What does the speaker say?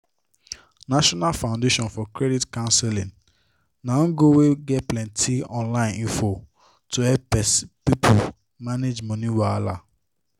national foundation for credit counseling na ngo wey get plenty online info to help people manage money wahala